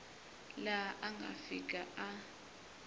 laha a nga fika a